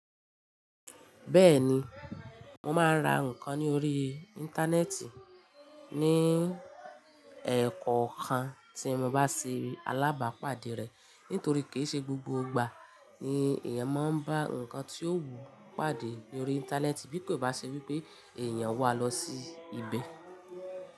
Bẹ́ẹ̀ni, mo máa ń ra nǹkan ní orí Íńtánẹ́ẹ̀tì ní ẹ̀kọ̀okan tí mo bá ṣe alábàápàdé rẹ̀. Nítorí kì í ṣe gbogbo ìgbà ni èèyàn máa ń bá nǹkan tí ó wù ú pàdé lórí Íńtánẹ́ẹ̀tì bí kò bá ṣe wípé èèyàn wà lọ sí ibẹ̀.